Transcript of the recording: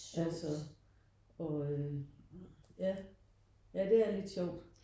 Altså ja ja det er lidt sjovt